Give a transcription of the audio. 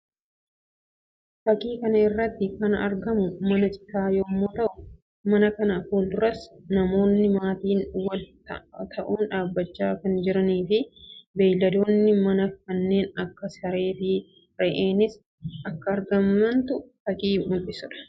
Fakkii kana irratti kan argamu mana citaa yammuu ta'u; mana kana fuulduras namoonni maatiin wal ta'uun dhaabbachaa kan jiranii fi beeyladoonni manaa kanneen akka saree fi Re'eenis akka argamtu fakkii mul'isuu dha.